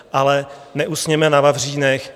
Ale neusněme na vavřínech.